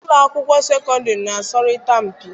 Ụlọ akwụkwọ sekọndịrị na-asọrịta mpi.